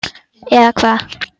eða hvað?